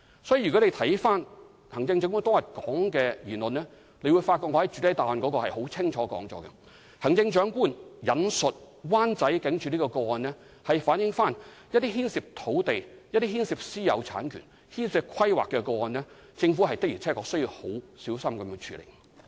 所以，如果回看行政長官當天的言論便會發覺，正如我已在主體答覆清楚指出，行政長官引述灣仔警署的個案，是表示對於牽涉土地、私有產權、規劃的個案時，政府的確需要很小心處理。